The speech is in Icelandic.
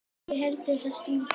í erindi þessi lítil tvö.